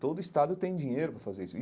Todo estado tem dinheiro para fazer isso.